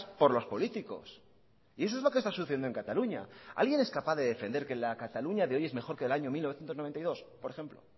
por los políticos y eso es lo que está sucediendo en cataluña alguien es capaz de defender que la cataluña de hoy es mejor que la del año mil novecientos noventa y dos por ejemplo